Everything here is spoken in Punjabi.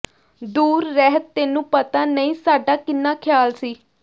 ਦੂਰ ਰਹਿ ਤੈਨੂੰ ਪਤਾ ਨਹੀਂ ਸਾਡਾ ਕਿੰਨਾ ਖਿਆਲ ਸੀ